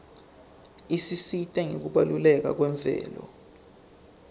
isisita ngekubaluleka kwemvelo